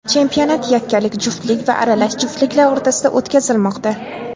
Chempionat yakkalik, juftlik va aralash juftliklar o‘rtasida o‘tkazilmoqda.